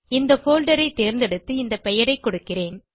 இந்த போல்டர் ஐ தேர்ந்தெடுத்து இந்த பெயரை கொடுக்கிறேன்